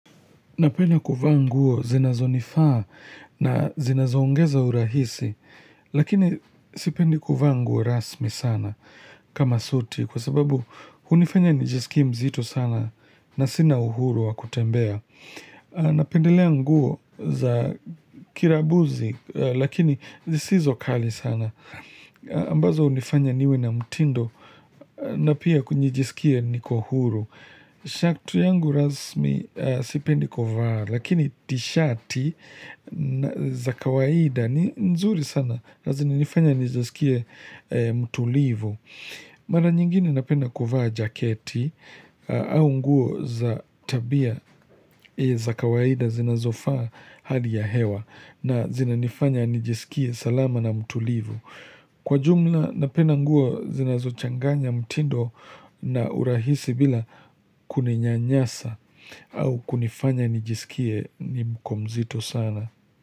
Napenda kuvaa nguo, zinazo nifaa na zinazo ongeza urahisi, lakini sipendi kuvaa nguo rasmi sana kama suti kwa sababu hunifanya nijisikie mzito sana na sina uhuru wa kutembea. Napendelea nguo za kirabuzi lakini zisizo kali sana. Ambazo unifanya niwe na mtindo na pia kunijisikie niko huru. Shaktu yangu rasmi sipendi kuvaa lakini tishati za kawaida ni nzuri sana na zinifanya nijesikie mtulivu. Mara nyingini napenda kuvaa jaketi au nguo za tabia za kawaida zinazofaa hali ya hewa na zinanifanya nijisikie salama na mtulivu. Kwa jumla napenda nguo zinazo changanya mtindo na urahisi bila kuninyanyasa au kunifanya nijisikie niko mzito sana.